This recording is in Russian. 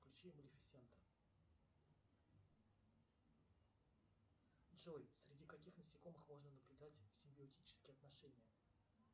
включи малифисента джой среди каких насекомых можно наблюдать симбиотические отношения